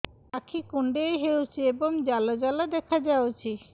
ଆଖି କୁଣ୍ଡେଇ ହେଉଛି ଏବଂ ଜାଲ ଜାଲ ଦେଖାଯାଉଛି